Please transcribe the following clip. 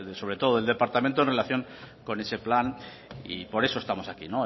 sobre todo del departamento en relación con ese plan y por eso estamos aquí